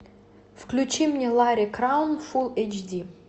включи мне ларри краун фул эйч ди